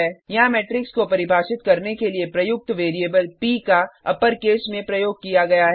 यहाँ मेट्रिक्स को परिभाषित करने के लिए प्रयुक्त वैरिएबल प का अपर केस में प्रयोग किया गया है